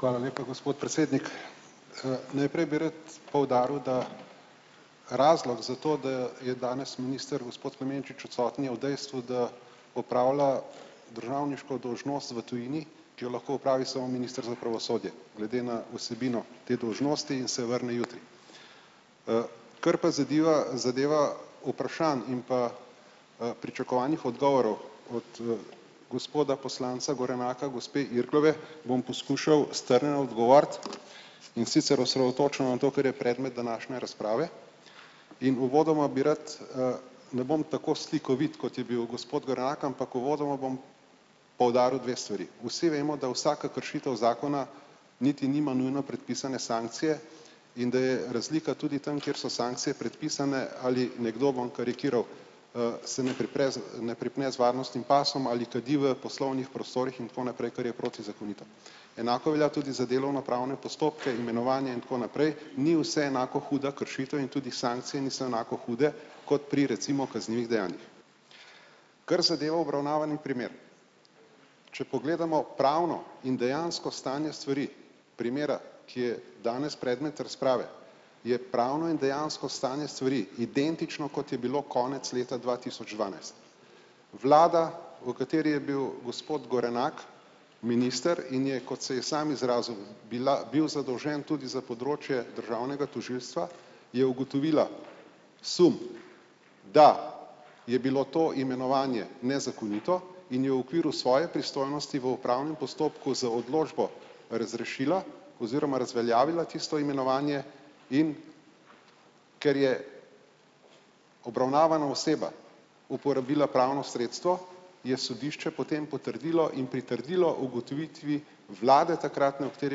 Hvala lepa, gospod predsednik. Najprej bi rad poudaril, da razlog za to, da je danes minister gospod Klemenčič odsoten je v dejstvu, da opravlja državniško dolžnost v tujini, ki jo lahko opravi samo minister za pravosodje glede na vsebino te dolžnosti in se vrne jutri. Kar pa zadeva zadeva vprašanja in pa, pričakovane odgovore gospoda poslanca Gorenaka, gospe Irglove, bom poskušal strnjeno odgovoriti. In sicer osredotočil na to, kar je predmet današnje razprave. In uvodoma bi rad, ne bom tako slikovit, kot je bil gospod Gorenak, ampak uvodoma bom poudaril dve stvari. Vsi vemo, da vsaka kršitev zakona niti nima nujno predpisane sankcije in da je razlika tudi tam, kjer so sankcije predpisane ali nekdo, bom karikiral, se ne z ne pripne z varnostnim pasom ali kadi v poslovnih prostorih in tako naprej, kar je protizakonito. Enako velja tudi za delo na pravnem postopku, imenovanje in tako naprej. Ni vse enako huda kršitev in tudi sankcije niso enako hude kot pri recimo kaznivih dejanjih. Kar zadeva obravnavani primer. Če pogledamo pravno in dejansko stanje stvari primera, ki je danes predmet razprave je pravno in dejansko stanje stvari identično, kot je bilo konec leta dva tisoč dvanajst. Vlada, v kateri je bil gospod Gorenak minister in je, kot se je samo izrazil, bila bil zadolžen tudi za področje državnega tožilstva, je ugotovila sum, da je bilo to imenovanje nezakonito in je v okviru svoje pristojnosti v upravnem postopku z odločbo razrešilo oziroma razveljavilo tisto imenovanje, in ker je obravnavana oseba uporabila pravno sredstvo, je sodišče potem potrdilo in pritrdilo ugotovitvi vlade takratne, v kateri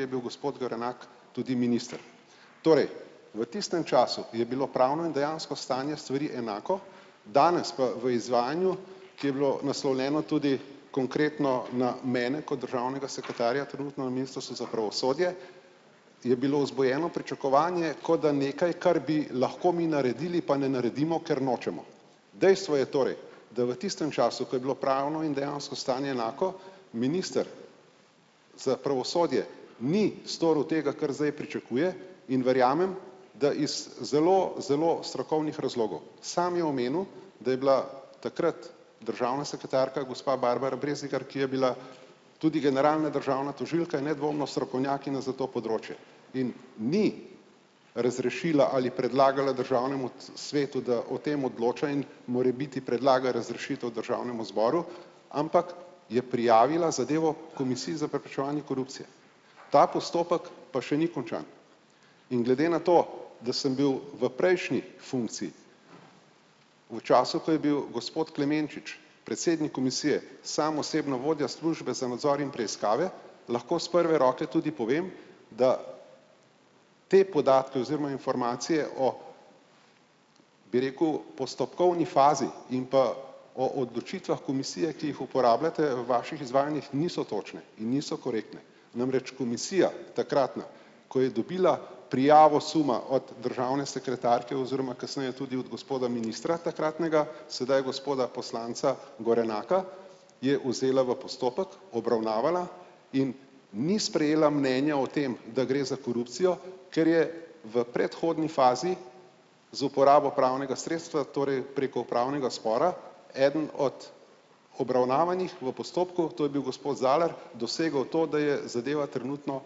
je bil gospod Gorenak tudi minister. Torej, v tistem času je bilo pravno in dejansko stanje stvari enako, danes pa v izvajanju, ki je bilo naslovljeno tudi konkretno na mene, kot državnega sekretarja trenutno na ministrstvo za pravosodje, je bilo vzbujeno pričakovanje, kot da nekaj, kar bi lahko mi naredili, pa ne naredimo, ker nočemo. Dejstvo je torej, da v tistem času, ko je bilo pravno in dejansko stanje enako, minister za pravosodje ni storil tega, kar zdaj pričakuje, in verjamem, da iz zelo zelo strokovnih razlogov. Sam je omenil, da je bila takrat državna sekretarka gospa Barbara Breznikar, ki je bila tudi generalna državna tožilka, je nedvomno strokovnjakinja za to področje. In ni razrešila ali predlagala državnemu svetu, da o tem odloča in morebiti predlaga razrešitev državnemu zboru, ampak je prijavila zadevo komisiji za preprečevanje korupcije. Ta postopek pa še ni končan. In glede na to, da sem bil v prejšnji funkciji v času, ko je bil gospod Klemenčič predsednik komisije sam osebno vodja službe za nadzor in preiskave, lahko s prve roke tudi povem, da te podatke oziroma informacije o, bi rekel, postopkovni fazi in pa o odločitvah komisije, ki jih uporabljate v vaših izvajanjih, niso točne in niso korektne. Namreč komisija takratna, ko je dobila prijavo suma od državne sekretarke oziroma kasneje tudi od gospoda ministra takratnega, sedaj gospoda poslanca Gorenaka, je vzela v postopek obravnavala in ni sprejela mnenja o tem, da gre za korupcijo, ker je v predhodni fazi z uporabo pravnega sredstva torej preko upravnega spora eden od obravnavanih v postopku, to je bil gospod Zalar, dosegel to, da je zadeva trenutno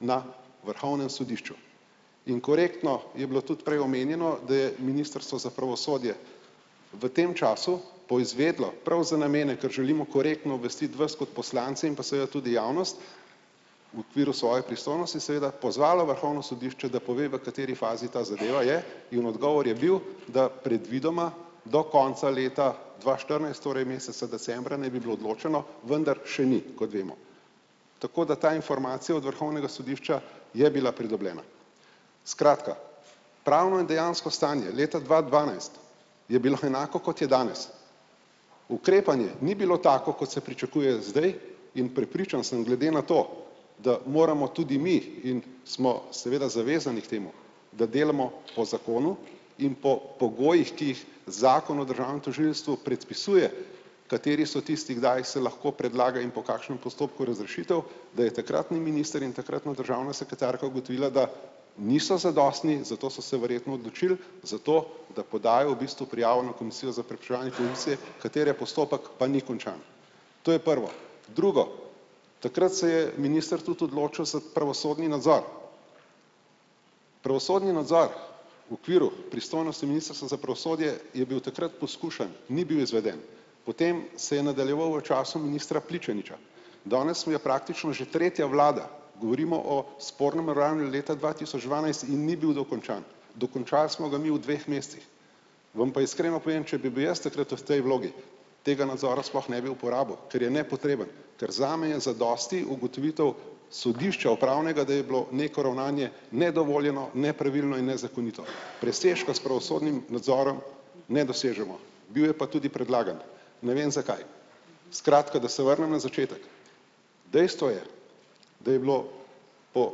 na vrhovnem sodišču. In korektno je bilo tudi prej omenjeno, da je ministrstvo za pravosodje v tem času poizvedelo, prav za namene, kar želimo korektno obvestiti vas kot poslance in pa seveda tudi javnost v okviru svoje pristojnosti, seveda, pozvalo vrhovno sodišče, da pove, v kateri fazi ta zadeva je, in odgovor je bil, da predvidoma do konca leta dva štirinajst torej meseca decembra naj bi bilo odločeno, vendar še ni, kot vemo. Tako da ta informacija od vrhovnega sodišča je bila pridobljena. Skratka, pravno in dejansko stanje leta dva dvanajst je bilo enako, kot je danes. Ukrepanje ni bilo tako, kot se pričakuje zdaj, in prepričan sem glede na to, da moramo tudi mi in smo seveda zavezani k temu, da delamo po zakonu in po pogojih, ki jih zakon o državnem tožilstvu predpisuje, kateri so tisti, kdaj jih se lahko predlaga in po kakšnem postopku razrešitev, da je takratni minister in takratno državno sekretarko ugotovila, da niso zadostni, zato so se verjetno odločili za to, da podajo v bistvu prijavo na komisijo za preprečevanje korupcije, katere postopek pa ni končan. To je prvo. Drugo. Takrat se je minister tudi odločil za pravosodni nadzor. Pravosodni nadzor v okviru pristojnosti ministrstva za pravosodje je bil takrat poskušan, ni bil izveden, potem se je nadaljeval v času ministra Pličaniča. Danes mi je praktično že tretja vlada, govorimo o spornem ravnanju leta dva tisoč dvanajst in ni bil dokončan. Dokončali smo ga mi v dveh mesecih. Vam pa iskreno povem, če bi bil jaz takrat v tej vlogi, tega nadzora sploh ne bi uporabil, ker je nepotreben. Ker zame je zadosti ugotovitev sodišča upravnega, da je bilo neko ravnanje nedovoljeno, nepravilno in nezakonito. Presežkov s pravosodnim nadzorom ne dosežemo. Bil je pa tudi predlagan. Ne vem, zakaj. Skratka, da se vrnem na začetek, dejstvo je, da je bilo po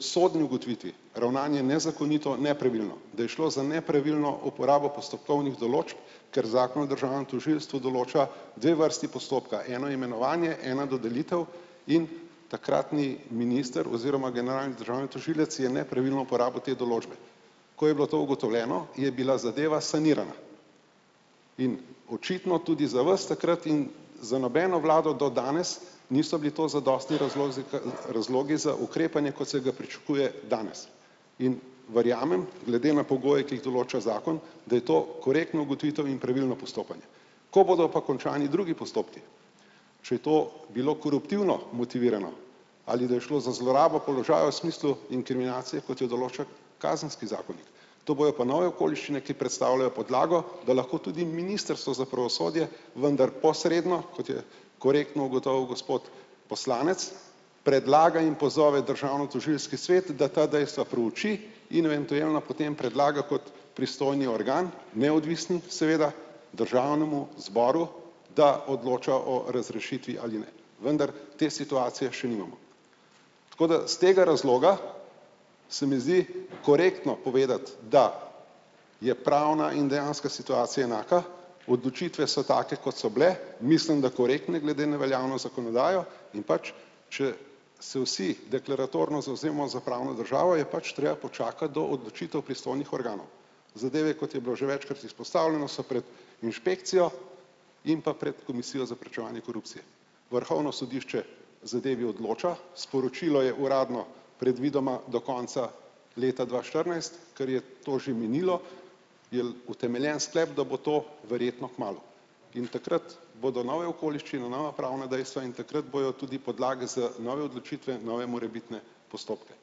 sodni ugotovitvi ravnanje nezakonito, nepravilno, da je šlo na nepravilno uporabo postopkovnih določb, ker zakon o državnem tožilstvu določa dve vrsti postopka, eno imenovanje, ena dodelitev in takratni minister oziroma generalni državni tožilec je nepravilno uporabil te določbe. Ko je bilo to ugotovljeno, je bila zadeva sanirana. In očitno tudi za vas takrat in za nobeno vlado do danes niso bili to zadostni razlog razlogi za ukrepanje, kot se ga pričakuje danes. In verjamem, glede na pogoje, ki jih določa zakon, da je to korektna ugotovitev in pravilno postopanje. Ko bodo pa končani drugi postopki, kje to bilo koruptivno motivirano ali, da je šlo za zlorabo položaja v smislu inkriminacije, kot jo določa kazenski zakonik. To bojo pa nove okoliščine, ki predstavljajo podlago, da lahko tudi ministrstvo za pravosodje vendar posredno, kot je korektno ugotovil gospod poslanec, predlaga in pozove državno tožilski svet, da ta dejstva preuči in eventuelno potem predlaga kot pristojni organ, neodvisni, seveda, državnemu zboru, da odloča o razrešitvi ali ne. Vendar te situacije še nimamo. Tako da s tega razloga se mi zdi korektno povedati, da je pravna in dejanska situacija enaka odločitve so take, kot so bile, mislim, da korektne glede na veljavno zakonodajo, in pač, če se vsi deklaratorno zavzemamo za pravno državo, je pač treba počakati do odločitev pristojnih organov. Zadeve, kot je bilo že večkrat izpostavljeno, so pred inšpekcijo in pa pred komisijo za preprečevanje korupcije. Vrhovno sodišče zadevi odloča, sporočilo je uradno predvidoma do konca leta dva štirinajst, kar je to že minilo, je utemeljen sklep, da bo to verjetno kmalu, in takrat bodo nove okoliščine, nova pravna dejstva in takrat bojo tudi podlage za nove odločitve, nove morebitne postopke.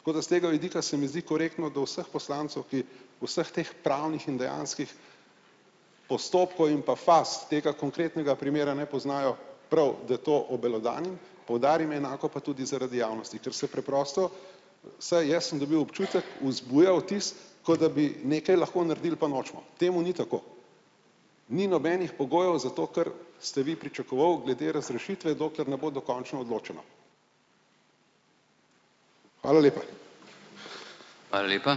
Tako da s tega vidika se mi zdi korektno do vseh poslancev, ki vseh teh pravnih in dejanskih postopkov in pa faz tega konkretnega primera ne poznajo, prav, da to obelodanim, poudarim enako pa tudi zaradi javnosti, ker se preprosto, saj jaz sem dobi občutek, vzbuja vtis, kot da bi nekaj lahko naredili, pa nočemo. Temu ni tako. Ni nobenih pogojev, zato ker ste vi pričakovali glede razrešitve, dokler ne bo dokončno odločeno. Hvala lepa!